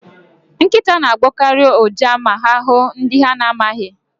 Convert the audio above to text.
Nkịta na-agbọkarị ụja ma ha hụụ ndị ha na-amaghị.